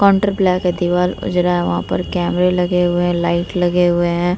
Counter दीवाल उजरा है। वहां पर कैमरे लगे हुए है लाइट लगे हुए हैं।